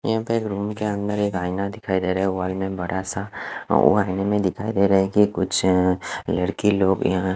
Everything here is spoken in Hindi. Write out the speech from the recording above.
यहाँ पे एक रूम के अन्दर एक आइना देखाई देरा है वो आइना में बड़ा सा वो आईने में दिखाई देरा है की कुछ लड़की लोग यहाँ--